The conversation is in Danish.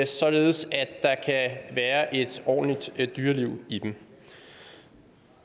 således at der kan være et ordentligt dyreliv i dem